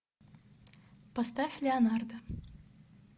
поставь леонардо